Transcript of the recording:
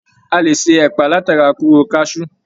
A lè ṣe ẹpa látara kóró kasú.